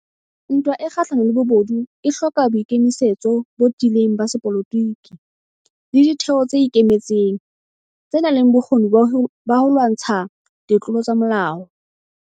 Ntwa e kgahlano le bobodu e hloka boikemisetso botiileng ba sepolotiki le ditheo tse ikemetseng, tsenang le bokgoni ba ho lwantsha ditlolo tsa molao.